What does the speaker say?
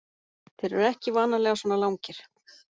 Þeir eru ekki vanalega svona langir.